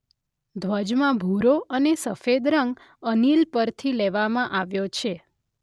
ધ્વજમાં ભૂરો અને સફેદ રંગ અનિલ પરથી લેવામાં આવ્યો છે.